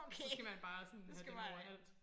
Så skal man bare sådan have dem overalt